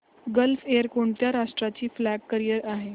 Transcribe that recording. gulf Air कोणत्या राष्ट्राची flag carrier आहे